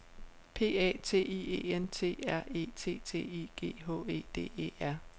P A T I E N T R E T T I G H E D E R